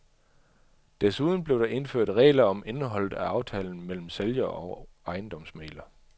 Desuden blev der indført regler om indholdet af aftalen mellem sælger og ejendomsmægler.